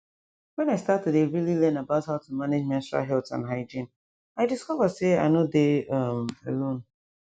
when i start to dey really learn about how to manage menstrual health and hygiene i discover say i nor dey um alone